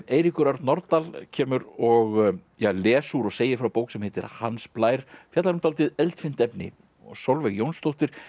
Eiríkur Örn Norðdahl kemur og les úr og segir frá bók sem heitir Hans Blær fjallar um dálítið eldfimt efni og Sólveig Jónsdóttir